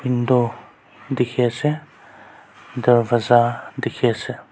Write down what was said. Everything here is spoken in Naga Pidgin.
window dikhi ase darwaja dikhi ase.